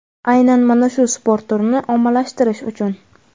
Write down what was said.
Aynan mana shu sport turini ommalashatirish uchun.